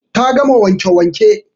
Ta gama wanke wanke